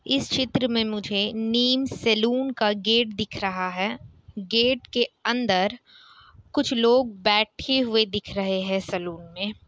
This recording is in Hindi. इस चित्र में मुझे नीम सैलून का गेट दिख रहा है। गेट के अंदर कुछ लोग बैठे हुए दिख रहे हैं सलून में।